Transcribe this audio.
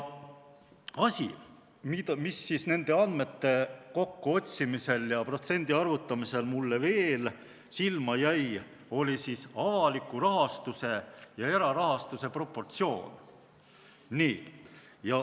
Asi, mis nende andmete kokkuotsimisel ja protsendi arvutamisel mulle veel silma jäi, on avaliku rahastuse ja erarahastuse proportsioon.